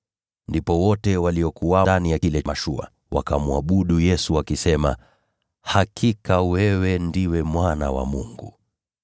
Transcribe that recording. Ndipo wote waliokuwa ndani ya ile mashua wakamwabudu Yesu, wakisema, “Hakika, wewe ndiwe Mwana wa Mungu.”